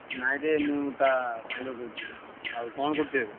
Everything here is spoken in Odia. ନାଇଁରେ ମୁଁ ତା ସାଙ୍ଗ କହୁଥିଲି। ଆଉ କଣ କରୁଚୁ ଏବେ?